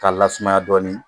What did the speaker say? K'a lasumaya dɔɔnin